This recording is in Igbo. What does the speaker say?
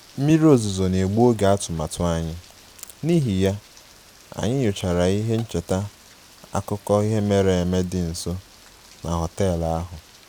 Mmiri ozuzo na-egbu oge atụmatụ anyị, n'ihi ya, anyị nyochara ihe ncheta akụkọ ihe mere eme dị nso na họtel ahụ